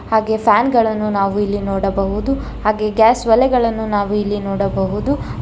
ಹಾಗೆ ಫ್ಯಾನ್ ಗಳನ್ನು ನಾವು ಇಲ್ಲಿ ನೋಡಬಹುದು ಹಾಗೆ ಗ್ಯಾಸ್ ಹೊಲೆಗಳನ್ನು ನಾವು ಇಲ್ಲಿ ನೋಡಬಹುದು.